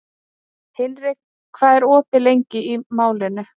Hinrika, hvað er opið lengi í Málinu?